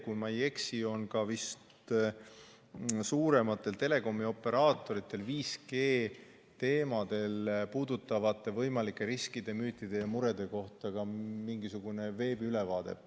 Kui ma ei eksi, on suurematel telekomioperaatoritel 5G-teemadel puudutavate võimalike riskide, müütide ja murede kohta ka mingisugune veebiülevaade.